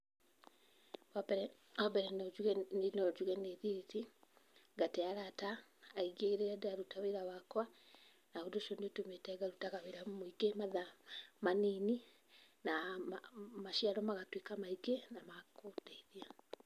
Wambere, wambere no njuge, niĩ no njuge nĩ thiĩte, ngate arata aingĩ rĩrĩa ndĩraruta wĩra wakwa, na ũndũ ũcio nĩ ũtũmĩte ngarutaga wĩra mũingĩ matha manini, na maciaro magatuĩka maingĩ na makũndeithia.